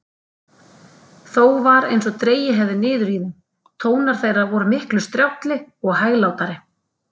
Þó var einsog dregið hefði niður í þeim: tónar þeirra vor miklu strjálli og hæglátari.